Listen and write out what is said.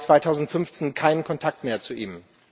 3. Mai 2015 keinen Kontakt mehr zu ihm.